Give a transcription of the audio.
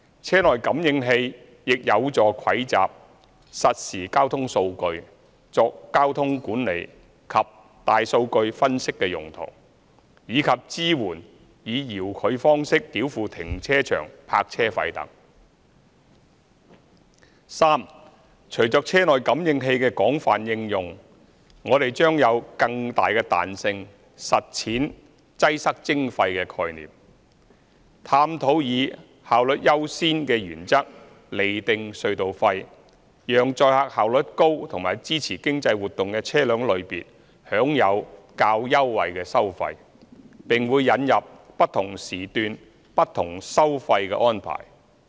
車內感應器亦有助蒐集實時交通數據作交通管理及大數據分析用途，以及支援以遙距方式繳付停車場泊車費等；第三，隨着車內感應器的廣泛應用，我們將有更大彈性實踐"擠塞徵費"的概念，探討以"效率優先"原則釐定隧道費，讓載客效率高和支持經濟活動的車輛類別享有較優惠的收費，並會引入"不同時段、不同收費"的安排。